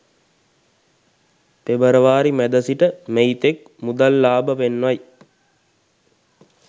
පෙබරවාරි මැද සිට මැයිතෙක් මුදල් ලාබ පෙන්වයි